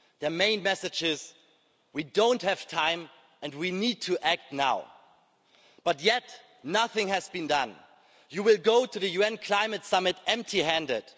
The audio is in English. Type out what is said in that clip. Their main message is that we don't have time and we need to act now, yet nothing has been done. You will go to the UN Climate Summit empty handed.